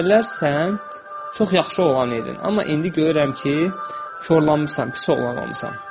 Əvvəllər sən çox yaxşı oğlan idin, amma indi görürəm ki, korlanmısan, pis oğlan olmusan.